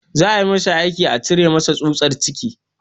Za a masa aiki a cire masa tsutsar ciki